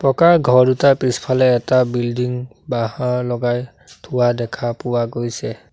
পকা ঘৰ দুটাৰ পিছফালে এটা বিল্ডিং বাহঁৰ লগাই থোৱা দেখা পোৱা গৈছে।